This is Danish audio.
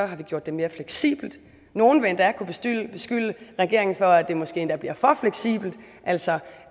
har vi gjort det mere fleksibelt nogle vil endda kunne beskylde regeringen for at det måske endda bliver for fleksibelt altså